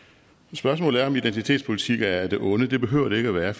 spørgsmålet er om identitetspolitik er af det onde det behøver det ikke at være